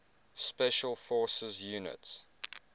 special forces units